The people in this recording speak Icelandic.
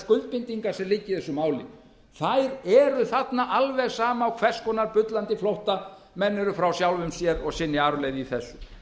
skuldbindingar sem liggja í þessu máli eru þarna alveg sama á hvers konar bullandi flótta menn eru frá sjálfum sér og sinni arfleifð í þessu